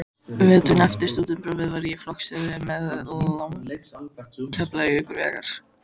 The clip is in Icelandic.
Veturinn eftir stúdentspróf var ég flokksstjóri við lagningu Keflavíkurvegar.